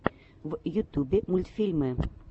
в ютубе мультфильмы